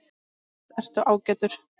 Annars ertu ágætur.